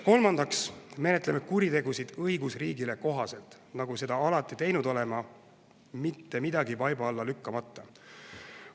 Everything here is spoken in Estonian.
Kolmandaks menetleme kuritegusid õigusriigile kohaselt, nagu seda alati teinud oleme, mitte midagi vaiba alla lükkamata.